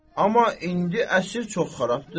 Amma indi əsr çox xarabdır.